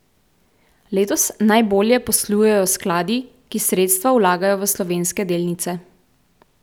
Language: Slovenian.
Letos najbolje poslujejo skladi, ki sredstva vlagajo v slovenske delnice.